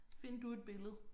Find du et billede